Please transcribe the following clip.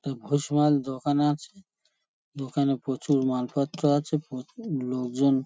তা ভুষিমাল দোকানে আছে। দোকানে প্রচুর মালপত্র আছে প্রচুর লোকজন--